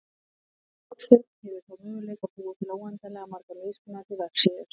Þessi eini vefþjónn hefur þá möguleika á að búa til óendanlega margar mismunandi vefsíður.